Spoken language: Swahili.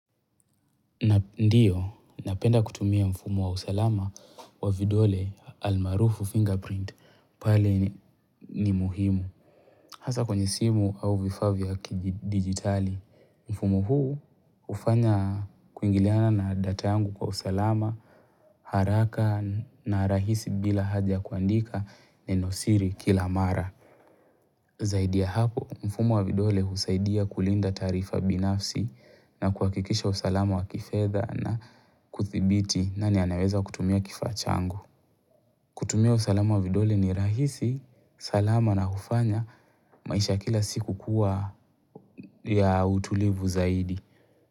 Ndiyo, napenda kutumia mfumo wa usalama wa vidole almarufu fingerprint pale ni muhimu. Hasa kwenye simu au vifaa vya kidigitali, mfumo huu hufanya kuingiliana na data yangu kwa usalama, haraka na rahisi bila haja kuandika nenosiri kila mara. Zaidi ya hapo, mfumo wa vidole husaidia kulinda taarifa binafsi na kuhakikisha usalama wa kifedha na kuthibiti nani anaweza kutumia kifaa changu. Kutumia usalamu wa vidole ni rahisi, salama na hufanya, maisha ya kila siku kuwa ya utulivu zaidi.